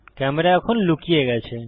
camera এখন লুকিয়ে গেছে